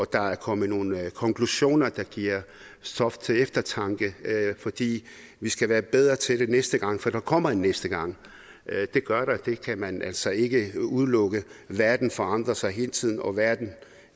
der er kommet nogle konklusioner der giver stof til eftertanke fordi vi skal være bedre til det næste gang for der kommer en næste gang det gør der det kan man altså ikke udelukke verden forandrer sig hele tiden og verden